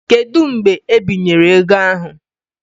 Kedu mgbe ebinyere ego ahụ?